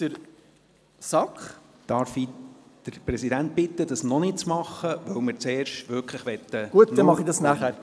Ich möchte den Präsidenten der SAK bitten, dies noch nicht zu tun, weil wir zuerst über die Rückweisung sprechen wollen.